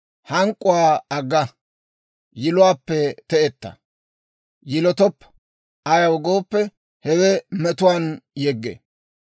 Hank'k'uwaa agga; yiluwaappe te'etta. Yilotoppa; ayaw gooppe, hewe metuwaan yeggee.